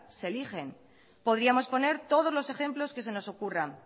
se eligen podríamos poner todos los ejemplos que se nos ocurran